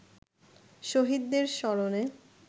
শহীদদের স্মরণে